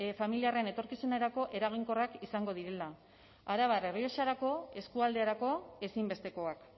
familiarren etorkizunerako eraginkorrak izango direla arabar errioxarako eskualderako ezinbestekoak